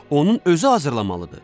Onun özü hazırlamalıdır.